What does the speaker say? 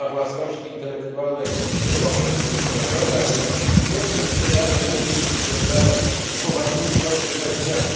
Prawa własności intelektualnej nie mogą być lekceważone, a ich nieprzestrzeganie musi być związane z poważnymi konsekwencjami.